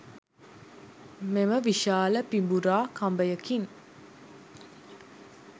මෙම විශාල පිඹුරා කඹයකින්